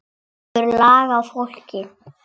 Hann hefur lag á fólki.